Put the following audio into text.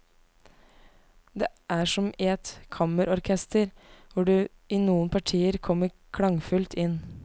Det er som i et kammerorkester hvor du i noen partier kommer klangfullt inn.